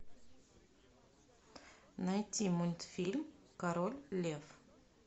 найти мультфильм король лев